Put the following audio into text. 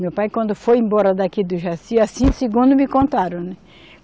Meu pai, quando foi embora daqui do Jaci, assim segundo me contaram, né?